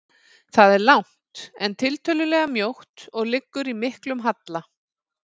Það er langt, en tiltölulega mjótt og liggur í miklum halla.